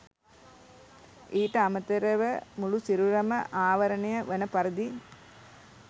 ඊට අමතරව මුළු සිරුරම ආවරණය වන පරිදි